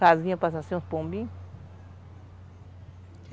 Casinha para ser um pombinho?